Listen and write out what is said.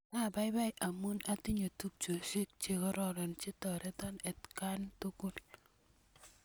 Apaipai amun atinye tupchosyek che kororon che toreton atkan tukul